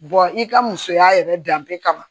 i ka musoya yɛrɛ danbe kama